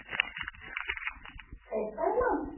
fy માં ને